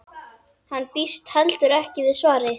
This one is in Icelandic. Hún býst heldur ekki við svari.